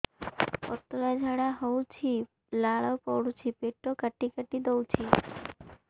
ପତଳା ଝାଡା ହଉଛି ଲାଳ ପଡୁଛି ପେଟ କାଟି କାଟି ଦଉଚି